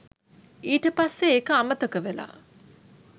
ඊට පස්සේ ඒක අමතක වෙලා